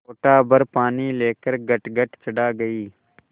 लोटाभर पानी लेकर गटगट चढ़ा गई